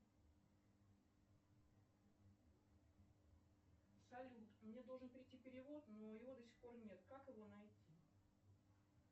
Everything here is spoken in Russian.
салют мне должен прийти перевод но его до сих пор нет как его найти